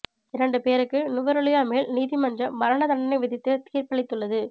இரண்டு பேருக்கு நுவரெலியா மேல் நீதிமன்றம் மரண தண்டனை விதித்து தீா்ப்பளித்துள்ளது